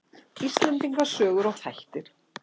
Íslendinga sögur og þættir.